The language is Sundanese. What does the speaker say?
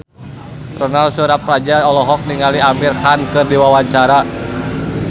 Ronal Surapradja olohok ningali Amir Khan keur diwawancara